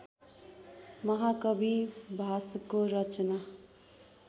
महाकवि भासको रचना